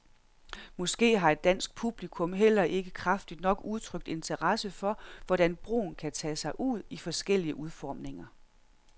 Måske har et dansk publikum heller ikke kraftigt nok udtrykt interesse for, hvordan broen kan tage sig ud i forskellige udformninger.